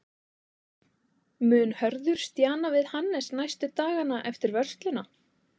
Mun Hörður stjana við Hannes næstu dagana eftir vörsluna?